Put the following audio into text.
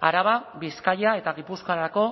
araba bizkaia eta gipuzkoarako